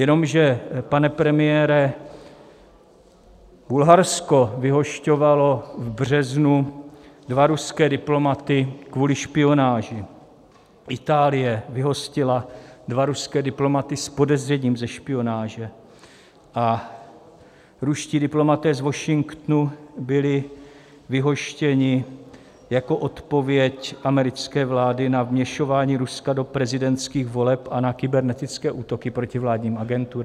Jenomže, pane premiére, Bulharsko vyhošťovalo v březnu dva ruské diplomaty kvůli špionáži, Itálie vyhostila dva ruské diplomaty s podezřením ze špionáže a ruští diplomaté z Washingtonu byli vyhoštěni jako odpověď americké vlády na vměšování Ruska do prezidentských voleb a na kybernetické útoky proti vládním agenturám.